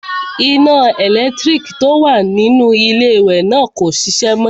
Iná ẹlẹ́lẹ̀tíríkì tó wà nínú iléwẹ̀ náà kò ṣiṣẹ́ mọ.